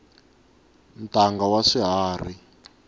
ntanga wa swiharhi